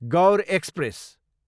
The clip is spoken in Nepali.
गौर एक्सप्रेस